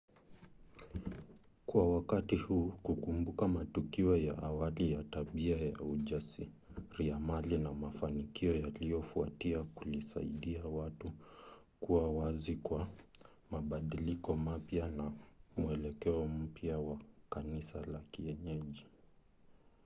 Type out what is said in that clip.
kwa wakati huu kukumbuka matukio ya awali ya tabia za ujasiriamali na mafanikio yaliyofuatia kulisaidia watu kuwa wazi kwa mabadiliko mapya na mwelekeo mpya wa kanisa la kienyeji